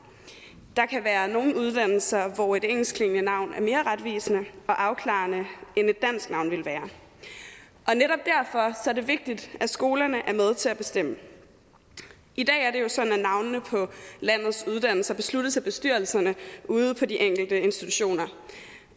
der kan være nogle uddannelser hvor et engelskklingende navn er mere retvisende og afklarende end et dansk navn ville være og det vigtigt at skolerne er med til at bestemme i dag er det jo sådan at navnene på landets uddannelser besluttes af bestyrelserne ude på de enkelte institutioner